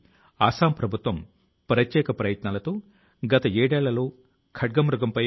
దానికి Arunachal Pradesh air gun surrender Abhiyan అనే పేరు ను పెట్టారు